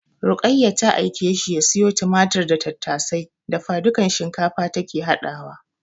Ruqayya ta aike shi ya siyo tumatir da tattasai. Dafadukan shinkafa take haɗawa.